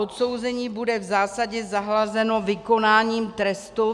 Odsouzení bude v zásadě zahlazeno vykonáním trestu.